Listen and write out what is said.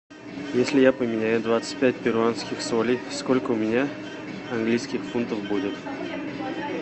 если я поменяю двадцать пять перуанских солей сколько у меня английских фунтов будет